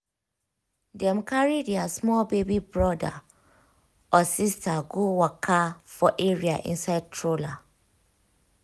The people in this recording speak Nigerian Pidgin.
dem carry their small baby brother/sister go waka for area inside stroller